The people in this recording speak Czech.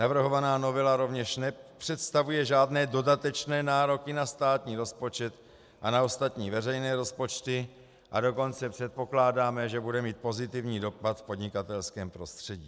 Navrhovaná novela rovněž nepředstavuje žádné dodatečné nároky na státní rozpočet a na ostatní veřejné rozpočty, a dokonce předpokládáme, že bude mít pozitivní dopad v podnikatelském prostředí.